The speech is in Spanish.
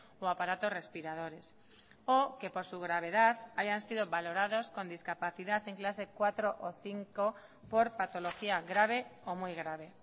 o aparatos respiradores o que por su gravedad hayan sido valorados con discapacidad en clase cuatro o cinco por patología grave o muy grave